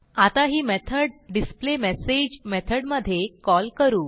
आता ही method display message मेथडमधे कॉल करू